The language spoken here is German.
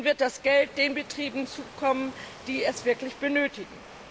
nun wird das Geld den Betrieben zukommen, die es wirklich benötigen.